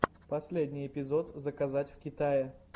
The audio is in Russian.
последний эпизод заказать в китае